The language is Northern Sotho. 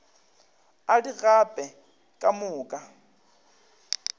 a di gape ka moka